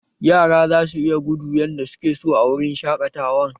Yara za su iya gudu yardar suke so a wurin shaƙatawan